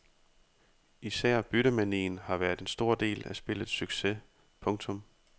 Især byttemanien har været en stor del af spillets succes. punktum